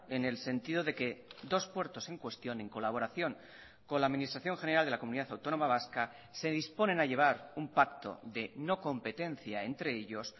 en el sentido de que dos puertos en cuestión en colaboración con la administración general de la comunidad autónoma vasca se disponen a llevar un pacto de no competencia entre ellos